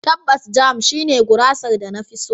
Tabbas, Jam shine gurasar da na fi so.